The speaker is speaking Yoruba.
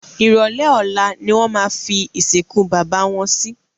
Ìrọ̀lé Ọ̀la ni wọ́n fi ìsìnkú bàbá wọn si